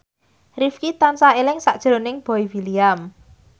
Rifqi tansah eling sakjroning Boy William